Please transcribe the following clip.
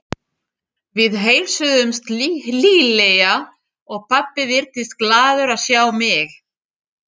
Við heilsuðumst hlýlega og pabbi virtist glaður að sjá mig.